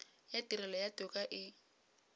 ya tirelo ya toka e